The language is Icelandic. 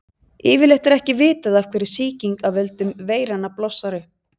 yfirleitt er ekki vitað af hverju sýking af völdum veiranna blossar upp